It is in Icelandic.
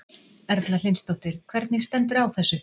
Erla Hlynsdóttir: Hvernig stendur á þessu?